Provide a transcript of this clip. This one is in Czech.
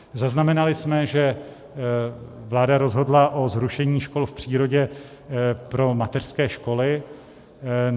Zaznamenali jsme, že vláda rozhodla o zrušení škol v přírodě pro mateřské školy.